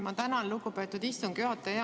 Ma tänan, lugupeetud istungi juhataja!